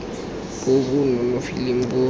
bo bo nonofileng bo bo